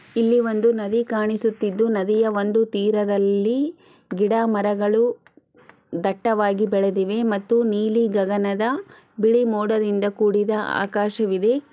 ಇಲ್ಲಿ ಒಂದು ನದಿ ಕಾಣಿಸುತ್ತಿದು ಒಂದು ತೀರದಲ್ಲಿ ಗಿಡ ಮರಗಳು ದಟ್ಟವಾಗಿ ಬೆಳೆದಿವೆ ಮತ್ತು ನೀಲಿ ಗಗನದ ಬಿಳಿ ಮೂಡಾದಿಂದ ಕೂಡಿದ ಆಕಾಶವಿದೆ.